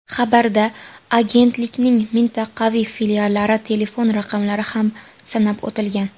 Xabarda agentlikning mintaqaviy filiallari telefon raqamlari ham sanab o‘tilgan .